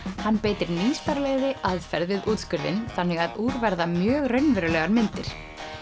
hann beitir nýstárlegri aðferð við þannig að úr verða mjög raunverulegar myndir